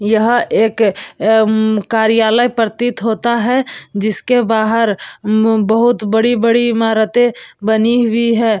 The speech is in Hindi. यह एक उम्म कार्यलय प्रतीत होता है जिसके बाहर उम्म बहुत बड़ी-बड़ी इमारते बनी हुई है।